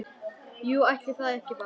Jú, ætli það ekki bara!